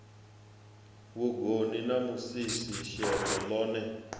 vhugoni na musisi sheḓo ḽone